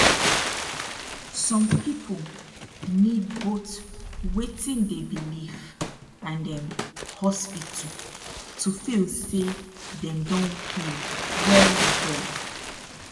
som people need both wetin dey belief and um hospital to feel say dem don heal welwel